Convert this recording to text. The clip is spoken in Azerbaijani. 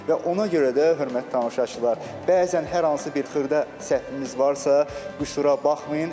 Və ona görə də, hörmətli tamaşaçılar, bəzən hər hansı bir xırda səhvimiz varsa, qüsura baxmayın.